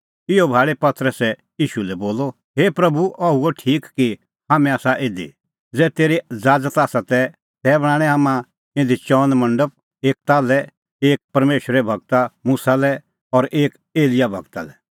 इहअ भाल़ी पतरसै ईशू लै बोलअ हे प्रभू अह हुअ ठीक कि हाम्हैं आसा इधी ज़ै तेरी ज़ाज़त आसा तै बणांणैं हाम्हां इधी चअन मंडप एक ताल्है एक परमेशरे गूर मुसा लै और एक एलियाह गूरा लै